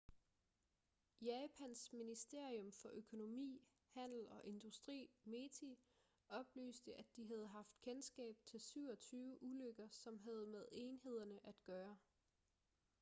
japans ministerium for økonomi handel og industri meti oplyste at de havde haft kendskab til 27 ulykker som havde med enhederne at gøre